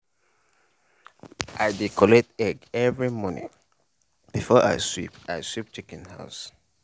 i dey collect egg every morning before i sweep i sweep chicken house.